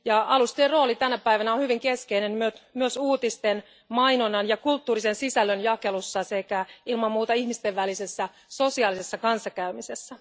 Alustojen rooli tänä päivänä on hyvin keskeinen myös uutisten, mainonnan ja kulttuurisen sisällön jakelussa sekä ilman muuta ihmisten välisessä sosiaalisessa kanssakäymisessä.